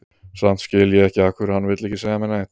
Samt skil ég ekki af hverju hann vill ekki segja mér neitt.